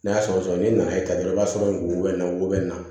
N'a sɔgɔsɔgɔ n'i nana dɔrɔn i b'a sɔrɔ wo bɛ na wo bɛ na